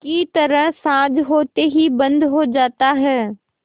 की तरह साँझ होते ही बंद हो जाता है